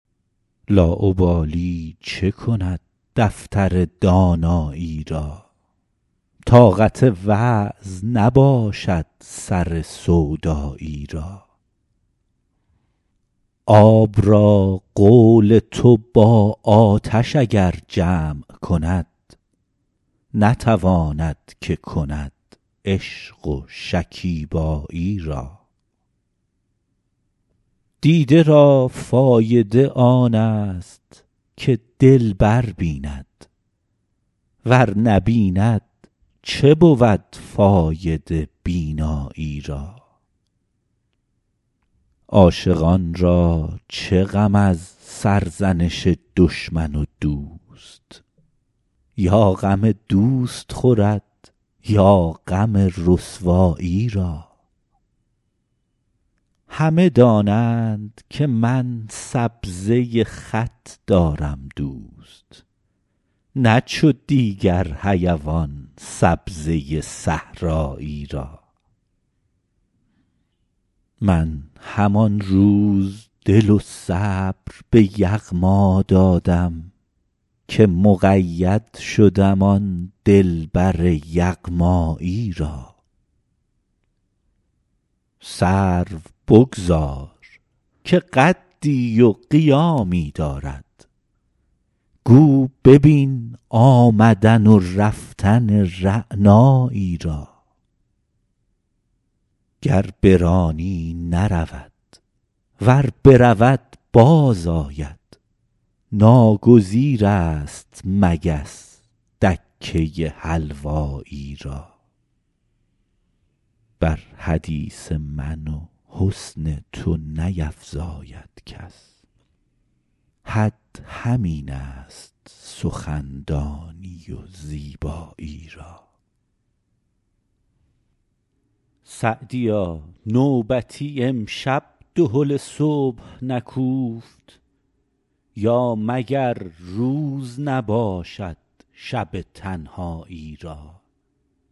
لاابالی چه کند دفتر دانایی را طاقت وعظ نباشد سر سودایی را آب را قول تو با آتش اگر جمع کند نتواند که کند عشق و شکیبایی را دیده را فایده آن است که دلبر بیند ور نبیند چه بود فایده بینایی را عاشقان را چه غم از سرزنش دشمن و دوست یا غم دوست خورد یا غم رسوایی را همه دانند که من سبزه خط دارم دوست نه چو دیگر حیوان سبزه صحرایی را من همان روز دل و صبر به یغما دادم که مقید شدم آن دلبر یغمایی را سرو بگذار که قدی و قیامی دارد گو ببین آمدن و رفتن رعنایی را گر برانی نرود ور برود باز آید ناگزیر است مگس دکه حلوایی را بر حدیث من و حسن تو نیفزاید کس حد همین است سخندانی و زیبایی را سعدیا نوبتی امشب دهل صبح نکوفت یا مگر روز نباشد شب تنهایی را